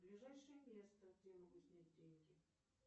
ближайшее место где я могу снять деньги